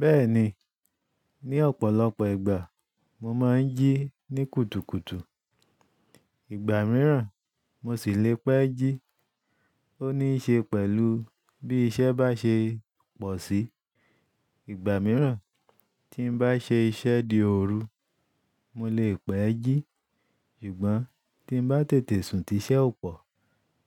Bẹ́ẹ̀ni, ní ọ̀pọ̀lọpọ̀ ìgbà mo máa ń jí ní kùtùkùtù. Ìgbà mìíràn mo sì le pẹ́ jí. Ó níí ṣe pẹ̀lú bí iṣẹ́ bá ṣe pọ̀ sí. Ìgbà mìíràn tí n bá ṣe iṣẹ́ di òru, mo lè pẹ́ jí. Ṣùgbọ́n tí n bá tètè sùn ti iṣẹ́ ò pọ̀,